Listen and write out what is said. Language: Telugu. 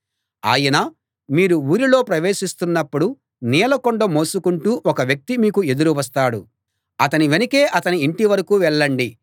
ఆయన మీరు ఊరిలో ప్రవేశిస్తున్నప్పుడు నీళ్లకుండ మోసుకుంటూ ఒక వ్యక్తి మీకు ఎదురు వస్తాడు అతని వెనకే అతని ఇంటివరకూ వెళ్ళండి